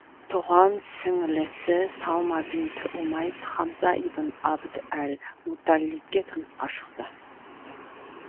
тұған сіңлісі салма бинт умайс хамза ибн абд әл мутталибке тұрмысқа шықты